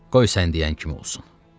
Qoy sən deyən kimi olsun.